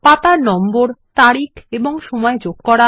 পাতার নম্বর তারিখ এবং সময় যোগ করা